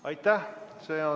Aitäh!